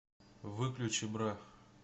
выключи бра